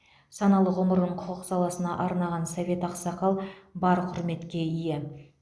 саналы ғұмырын құқық саласына арнаған совет ақсақал бар құрметке ие